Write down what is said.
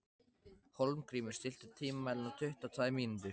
Hólmgrímur, stilltu tímamælinn á tuttugu og tvær mínútur.